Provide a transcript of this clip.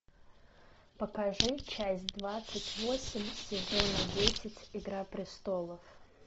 покажи часть двадцать восемь сезона десять игра престолов